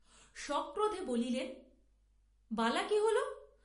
সক্রোধে বলিলেন বালা কি হোল!